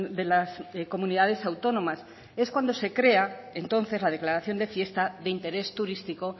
de las comunidades autónomas es cuando se crea entonces la declaración de fiesta de interés turístico